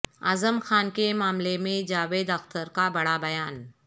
اعظم خان کے معاملے میں جاوید اختر کا بڑا بیان